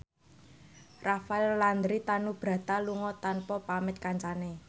Rafael Landry Tanubrata lunga tanpa pamit kancane